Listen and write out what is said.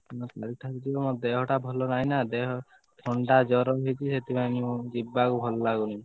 ମୋ ଦେହଟା ଭଲ ନାହି ନା ଥଣ୍ଡା ଜର ହେଇଛି ସେଥିପାଇଁ ଯିବାକୁ ଭଲ ଲାଗୁନି।